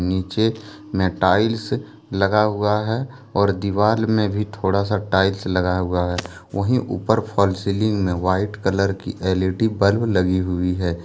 नीचे में टाइल्स लगा हुआ है और दीवाल में भी थोड़ा सा टाइल्स लगा हुआ है वही फॉल सीलिंग में भी व्हाइट कलर की एल_इ_डी बल्ब लगी हुई है।